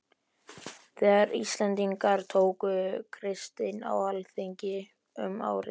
Þegar Íslendingar tóku kristni á alþingi um árið